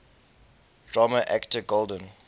drama actor golden